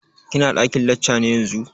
Ki na ɗakin lacca yanzu?